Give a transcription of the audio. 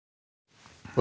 og